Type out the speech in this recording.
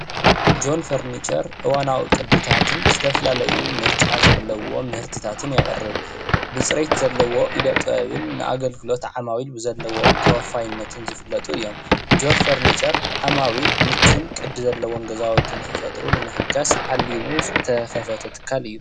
ጆን ፈርንቸር እዋናዊ ቅድታትን ዝተፈላለዩ ምርጫ ዘለዎም ምህርትታትን የቕርብ ብፅሬት ዘለዎም ኢደ ጥበብን ንኣገልግሎት ዓማዊል ብዘለዎም ተወፋይነትን ዝፍለጡ እዮም። ጆን ፈርኒቸር ዓማዊል ምቹን ቅዲ ዘለዎም ገዛዉቲ ንክፈጥሩ ንምሕጋዝ ዓሊሙ ዝተከፈተ ትካል እዩ።